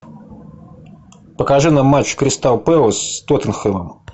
покажи нам матч кристал пэлас с тоттенхэмом